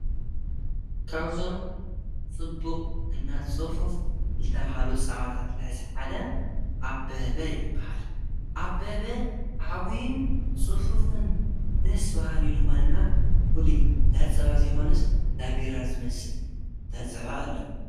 ካውዞም ፅቡቕ እና ፅፉፍ ልተብሃሉ ፃባታት ልሕዝ ሓደ ኣበበ ይበሃል። ኣበበ ዓውይን ፅፉፍን ደስ በሃሊ ልኾነ እና ፍሉይ ዳፀባ ዘይኾነስ ዳቢራ ዝመስል ዳፀባ ኣለዉ።